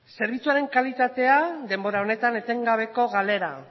zerbitzuaren kalitatea denbora honetan etengabeko galera